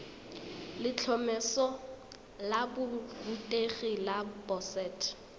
letlhomeso la borutegi la boset